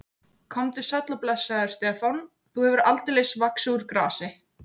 Komdu sæll og blessaður, Stefán, þú hefur aldeilis vaxið úr grasi.